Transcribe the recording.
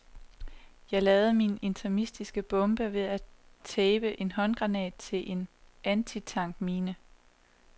Jeg lavede min interimistiske bombe ved at tape en håndgranat til en antitank mine.